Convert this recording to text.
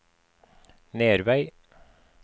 Nervei